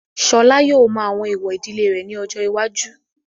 Ṣọlá yóò mọ àwọn èwọ̀ ìdílé rẹ̀ ní ọjọ́ iwájú.